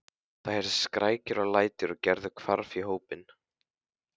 Það heyrðust skrækir og læti og Gerður hvarf í hópinn.